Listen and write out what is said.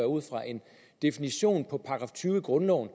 ud fra en definition af § tyve i grundloven